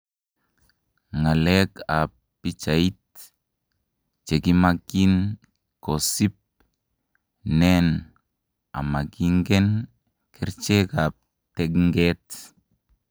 Ngalek apnpichait,:chekimangin kosip ,nen amakinikeng kerjeck ap tenget